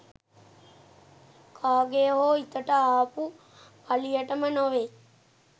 කාගේ හෝ හිතට ආපු පලියටම නොවේ